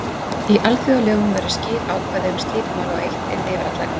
Í alþjóðalögum væru skýr ákvæði um slík mál og eitt yrði yfir alla að ganga.